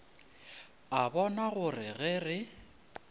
a bona gore ge re